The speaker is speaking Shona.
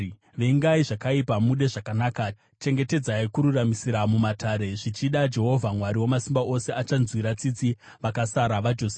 Vengai zvakaipa, mude zvakanaka; chengetedzai kururamisira mumatare. Zvichida Jehovha Mwari Wamasimba Ose achanzwira tsitsi vakasara vaJosefa.